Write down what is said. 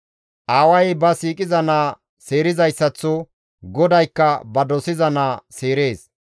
Aaway ba siiqiza naa seerizayssaththo GODAYKKA ba dosiza naa seerees.